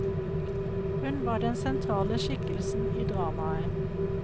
Hun var den sentrale skikkelsen i dramaet.